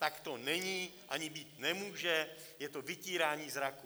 Tak to není ani být nemůže, je to vytírání zraku.